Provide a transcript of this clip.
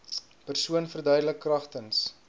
persoon verduidelik kragtens